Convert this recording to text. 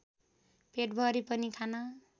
पेटभरि पनि खान